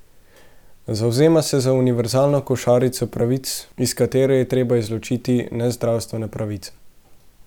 Zavzema se za univerzalno košarico pravic, iz katere je treba izločiti nezdravstvene pravice.